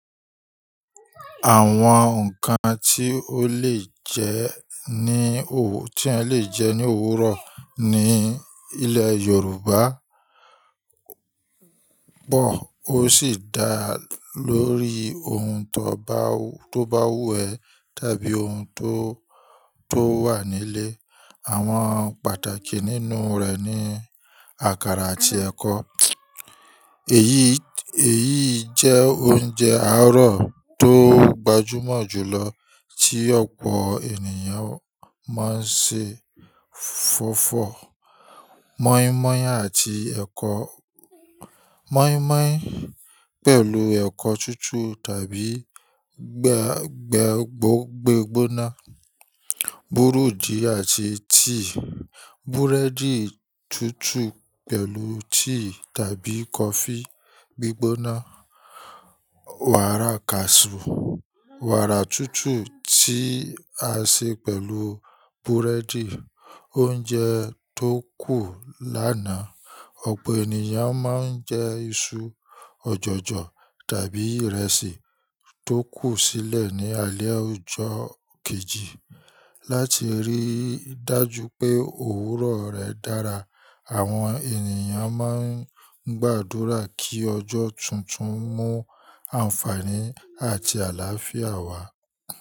Àwọn ǹkan tí ó lè jẹ ní òw-- tí ẹ lè jẹ ní òwúrọ̀ ní ilẹ̀ Yorùbá pọ̀ ó sì dá lórí ohun tó báú-- tó bá wù ẹ́ tàbí ohun tó, tó wà nílé. Àwọn pàtàkì nínú rẹ̀ ni àkàrà àti ẹ̀kọ. Èyí, èyí jẹ́ oúnjẹ àárọ̀ tó gbajúmọ̀ jùlọ tí ọ̀pọ̀ ènìyàn máa ń ṣe. Fọ́fọ̀ mọ́ímọ́í àti ẹ̀kọ-- mọ́ímọ́í pẹ̀lú ẹ̀kọ́ túútúù tàbí gbà-gbágbó-gbígbóná. Búruji àti tíì, búrẹ́dì túútúù pẹ̀lú tíì tàbí kọfí gbígbóná. Wàrà kaasú, wàrà túútúù tí a ṣe pẹ̀lú búrẹ́dì. Oúnjẹ tó kù lánàá, ọ̀pọ̀ ènìyàn máa ń jẹ iṣu ọ̀jọ̀jọ̀ tàbí ìrẹsì tó kù sílẹ̀ ní alé ojó kejì. Láti rí dájú pé òwúrọ̀ rẹ̀ dára, àwọn ènìyàn máa ń gbàdúrà kí ọjọ́ tuntun mú àǹfààní àti àlàáfíà wá.